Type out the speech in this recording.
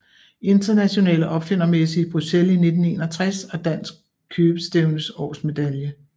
Internationale Opfindermesse i Bruxelles 1961 og Dansk Købestævnes årsmedalje